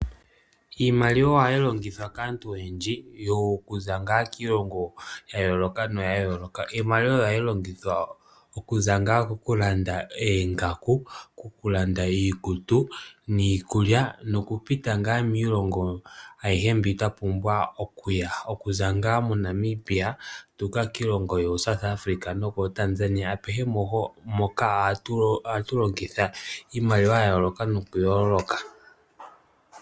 Iimaliwa ohayi longithwa kaantu oyendji okuza ngaa kiilongo ya yooloka noya yooloka. Iimaliwa ohayi longithwa okuza ngaa koku landa oongaku, koku landa iikutu niikulya noku pita ngaa miilongo ayihe mbi twa pumbwa okuya, okuza ngaa moNamibia tuuka kiilongo yoo South Africa nokoo Tanzania apehe mpoka ohatu longitha iimaliwa ya yooloka noku yooloka.